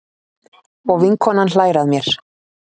Og vinkonan hlær að mér.